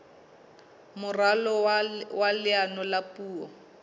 moralo wa leano la puo